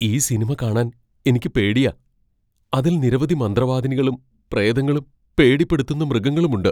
ഈ സിനിമ കാണാൻ എനിക്ക് പേടിയാ. അതിൽ നിരവധി മന്ത്രവാദിനികളും പ്രേതങ്ങളും പേടിപ്പെടുത്തുന്ന മൃഗങ്ങളുമുണ്ട്.